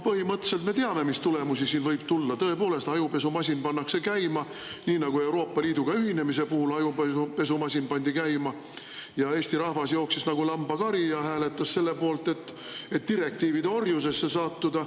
Põhimõtteliselt me teame, mis tulemusi siin võib tulla Tõepoolest, ajupesumasin pannakse käima nii nagu Euroopa Liiduga ühinemise puhul ajupesumasin pandi käima ja Eesti rahvas jooksis nagu lambakari ja hääletas selle poolt, et direktiivide orjusesse sattuda.